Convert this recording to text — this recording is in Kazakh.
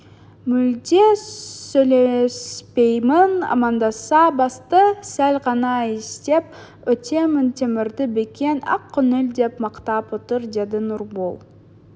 мүлде сөйлеспеймін амандасса басты сәл ғана изеп өтемін темірді бекен ақкөңіл деп мақтап отыр деді нұрбол